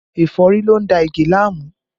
Ẹ̀fọ́rí ló ń da Ige láàmú